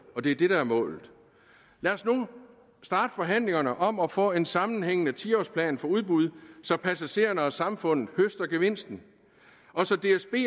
og det er det der er målet lad os nu starte forhandlingerne om at få en sammenhængende ti årsplan for udbud så passagererne og samfundet høster gevinsten og så dsb